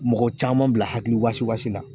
Mɔgɔ caman bila hakili wasi wasi la